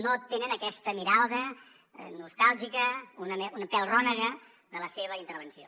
no tenen aquesta mirada nostàlgica un pèl rònega de la seva intervenció